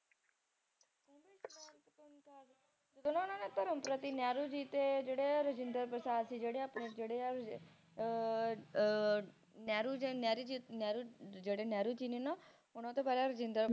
ਧਰਮ ਪ੍ਰਤੀ ਨਹਿਰੂ ਜੀ ਤੇ ਜਿਹ ੜੇ ਰਾਜਿੰਦਰ ਪ੍ਰਸਾਦ ਸੀਗੇ ਆਪਣੇ ਜਿਹੜੇ ਨਹਿਰੂ ਜੀ ਨੇ ਨਾ ਓਹਨਾ ਤੋਂ ਪਹਿਲਾਂ ਰਾਜਿੰਦਰ